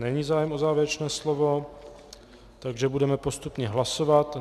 Není zájem o závěrečné slovo, takže budeme postupně hlasovat.